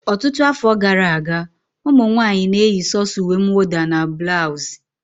Ọtụtụ afọ gara aga, ụmụ nwanyị na-eyi sọ̀so uwe mwụda and bulausi